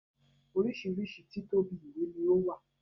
Oríṣiríṣi títóbi ìwé ni o wa.